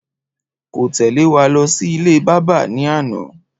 Kò téle wa lọ sí ilé bábà ní àná